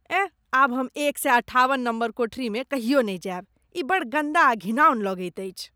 एह! आब हम एक सए अठाबन नम्बर कोठरीमे कहियो नहि जायब। ई बड्ड गन्दा आ घिनाऔन लगैत अछि।